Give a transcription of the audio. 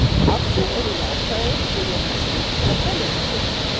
Allir eru jákvæðir og ég fæ styrk til að berjast við þetta.